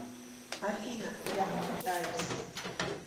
афина я попытаюсь